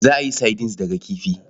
Za a yi sardines daga kifi.